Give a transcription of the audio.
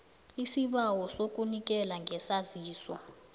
isibawo sokunikela ngesaziso